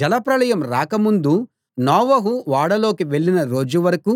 జలప్రళయం రాక ముందు నోవహు ఓడలోకి వెళ్ళిన రోజు వరకూ